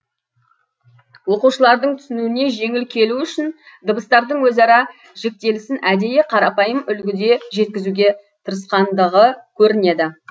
оқушылардың түсінуіне жеңіл келу үшін дыбыстардың өзара жіктелісін әдейі қарапайым үлгіде жеткізуге тырысқандығы көрінеді